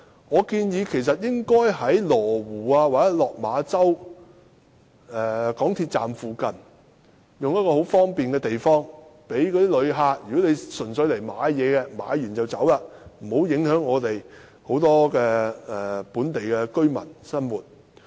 我建議邊境購物城應設在羅湖或落馬洲港鐵站附近等便利的地方，讓純粹前來購物的旅客在購物後便離開，以免影響很多本地居民的生活。